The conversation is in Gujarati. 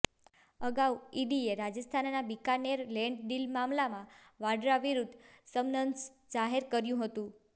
અગાઉ ઇડીએ રાજસ્થાનના બીકાનેર લેન્ડ ડીલ મામલામાં વાડ્રા વિરુદ્ધ સમન્સ જાહેર કર્યું હતું